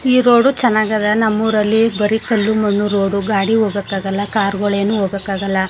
ಈ ರೋಡ್ ಚನ್ನಾಗದ ನಮ್ಮಊರಲ್ಲಿ ಬರಿ ಕಲ್ಲು ಮಣ್ಣು ರೋಡು ಗಾಡಿ ಹೋಗಕ್ಕಾಗಲ್ಲಾ ಕಾರ್ ಗಳು ಏನು ಹೋಗಕ್ಕಾಗಲ್ಲಾ.